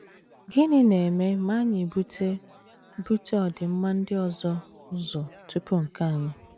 Gịnị na - eme ma anyị bute bute ọdịmma ndị ọzọ ụzọ tupu nke anyị?